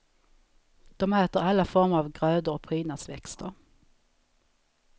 De äter alla former av grödor och prydnadsväxter.